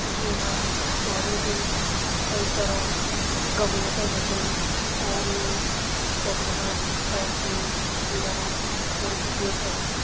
ये का भैर बटिन कई सारा गमला छन रख्यां और ये होटल का भैर बटिन नीला रंग कु बड़ु सु गेट छा।